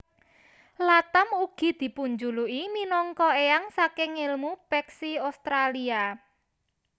Latham ugi dipunjuluki minangka éyang saking èlmu peksi Australia